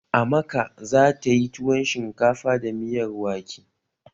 Amaka za tayi tuwon shinkafa da miyar wake